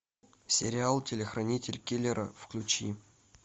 сериал телохранитель киллера включи